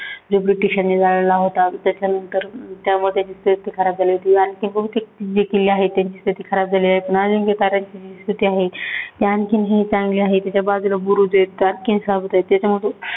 ब्रिटिशांन त्याच्यानंतर त्यामध्ये स्थिती खराब झाली होती. आणखी बहुतेक जे किल्ले आहे त्यांची स्थिती खराब झाली आहे, पण अजिंक्याताराची जी स्थिती आहे, ते आणखीनही चांगली आहे त्याच्या बाजुला बुरुज आहेत, आणखीनही साबूत आहेत.